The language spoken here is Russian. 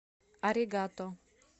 аригато